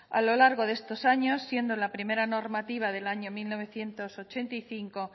a lo largo de estos años siendo la primera normativa del año mil novecientos ochenta y cinco